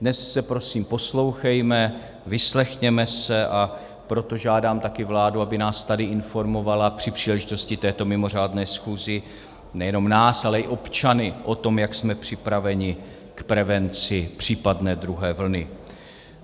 Dnes se prosím poslouchejme, vyslechněme se, a proto žádám také vládu, aby nás tady informovala při příležitosti této mimořádné schůze - nejenom nás, ale i občany - o tom, jak jsme připraveni k prevenci případné druhé vlny.